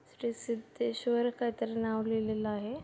श्री शिद्धेश्वर काही तरी नाव लिहिलेलं आहे.